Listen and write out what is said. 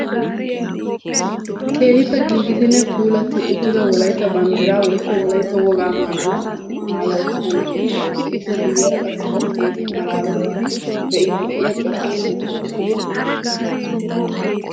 Keehippe giigidinne puulatti uttida wolaytta banddiraa woykko wolaytta wogaa maayuwa maaya uttida na"iya de"awus. He ippe guyyeera qassi o keehin malaalettidi be"iiddi diya cora asati de"oosona.